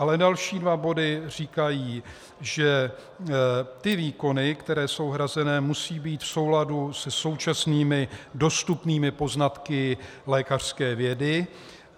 Ale další dva body říkají, že ty výkony, které jsou hrazené, musí být v souladu se současnými dostupnými poznatky lékařské vědy.